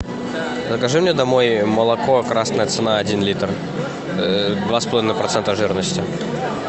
закажи мне домой молоко красная цена один литр два с половиной процента жирности